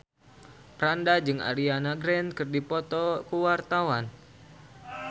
Franda jeung Ariana Grande keur dipoto ku wartawan